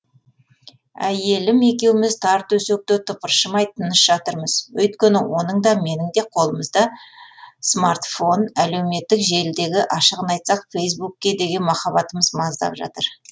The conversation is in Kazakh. әйелім екеуміз тар төсекте тыпыршымай тыныш жатырмыз өйткені оның да менің де қолымызда смартфон әлеуметтік желідегі ашығын айтсақ фейсбукке деген махаббатымыз маздап жатыр